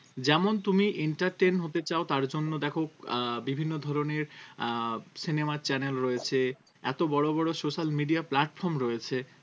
যেমন তুমি entertain হতে চাও তার জন্য দেখো আহ বিভিন্ন ধরনের আহ cinema আর channel রয়েছে এত বড় বড় social media platform রয়েছে